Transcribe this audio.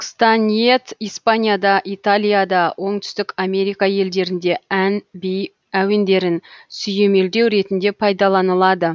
кстаниет испанияда италияда оңтүстік америка елдерінде ән би әуендерін сүйемелдеу ретінде пайдаланылады